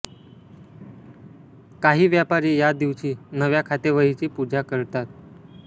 काही व्यापारी या दिवशी नव्या खातेवहीची पूजा करतात